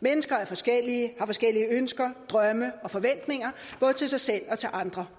mennesker er forskellige og forskellige ønsker drømme og forventninger både til sig selv og til andre